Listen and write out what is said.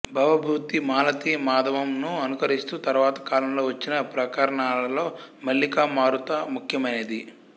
భవభూతి మాలతీ మాధవం ను అనుకరిస్తూ తరువాత కాలంలో వచ్చిన ప్రకరణాలలో మల్లికా మారుత ముఖ్యమైనది